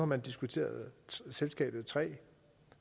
man diskuteret selskabet tre